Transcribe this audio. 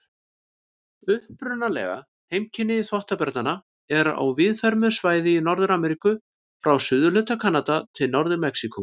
Upprunaleg heimkynni þvottabjarna eru á víðfeðmu svæði í Norður-Ameríku, frá suðurhluta Kanada til Norður-Mexíkó.